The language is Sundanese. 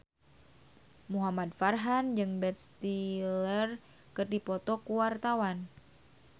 Muhamad Farhan jeung Ben Stiller keur dipoto ku wartawan